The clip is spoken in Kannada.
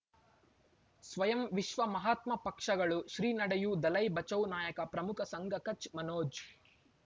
ಸ್ವಯಂ ವಿಶ್ವ ಮಹಾತ್ಮ ಪಕ್ಷಗಳು ಶ್ರೀ ನಡೆಯೂ ದಲೈ ಬಚೌ ನಾಯಕ ಪ್ರಮುಖ ಸಂಘ ಕಚ್ ಮನೋಜ್